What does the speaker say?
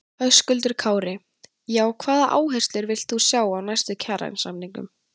Höskuldur Kári: Já, hvaða áherslur villt þú sjá í næstu kjarasamningum?